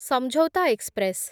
Samjhauta express